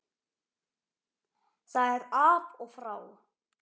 Það er af og frá.